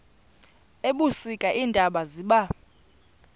ebusika iintaba ziba